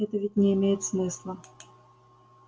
это ведь не имеет смысла